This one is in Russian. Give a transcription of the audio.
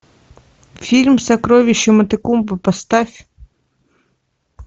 фильм сокровище матекумбе поставь